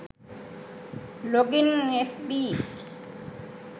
login fb